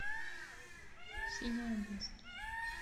синяя бездна